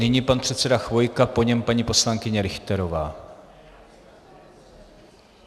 Nyní pan předseda Chvojka, po něm paní poslankyně Richterová.